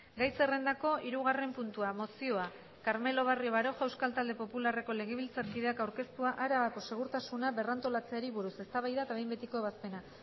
gai zerrendako hirugarren puntua mozioa carmelo barrio baroja euskal talde popularreko legebiltzarkideak aurkeztua arabako segurtasuna berrantolatzeari buruz eztabaida eta behin betiko ebazpena